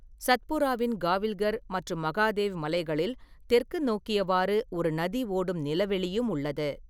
சத்புராவின் காவில்கர் மற்றும் மகாதேவ் மலைகளில் தெற்கு நோக்கியவாறு ஒரு நதி ஓடும் நிலவெளியும் உள்ளது.